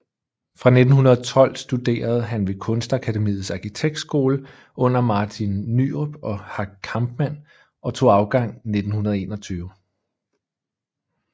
Fra 1912 studerede han ved Kunstakademiets Arkitektskole under Martin Nyrop og Hack Kampmann og tog afgang 1921